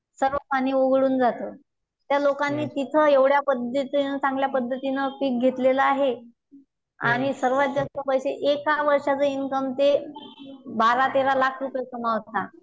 त्या लोकांनी तिथं एव्हड्या पद्धतीनं चांगल्या पद्धतीनं पीक घेतलं आहेसर्वात जास्त पैसे एका वर्षाचा इनकम ते बारा तेरा लाख रुपये कमावता.